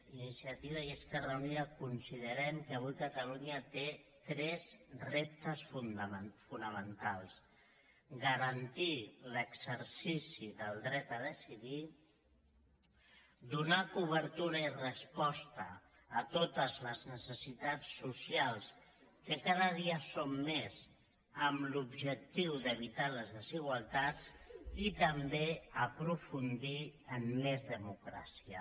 iniciativa i esquerra uni·da considerem que avui catalunya té tres reptes fona·mentals garantir l’exercici del dret a decidir donar cobertura i resposta a totes les necessitats socials que cada dia són més amb l’objectiu d’evitar les desigual·tats i també aprofundir en més democràcia